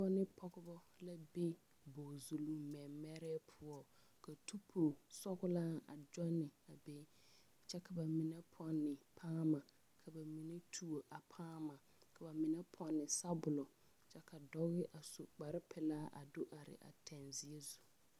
Noba ne pɔgeba la be bogzuluŋ mɛmɛrɛɛ poɔ ka tupu sɔglaa a gyɔnne a be kyɛ ka ba mine pɔnne a paama ka ba mine tuo a paama ba mine pɔnne sabɔlɔ kyɛ ka dɔɔ do are a teŋzeɛ zu.